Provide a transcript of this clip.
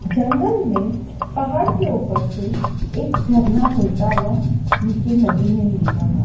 जंगल में पहाड़ के ऊपर से एक झरना बेहता हुआ नीचे नदी में मिल रहा--